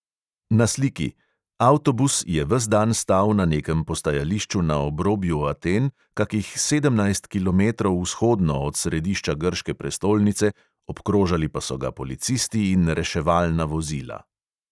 Na sliki: avtobus je ves dan stal na nekem postajališču na obrobju aten, kakih sedemnajst kilometrov vzhodno od središča grške prestolnice, obkrožali pa so ga policisti in reševalna vozila.